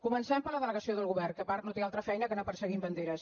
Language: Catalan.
comencem per la delegació del govern que a part no té altra feina que anar perseguint banderes